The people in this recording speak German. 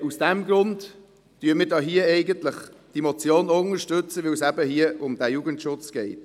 Aus diesem Grund unterstützen wir diese Motion.